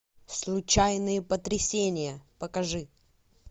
случайные потрясения покажи